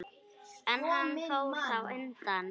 En hann fór þá undan.